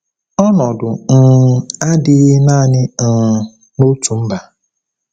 Ọnọdụ um adịghị naanị um n’otu mba.